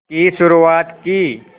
की शुरुआत की